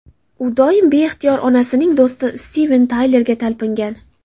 U doim beixtiyor onasining do‘sti Stiven Taylerga talpingan.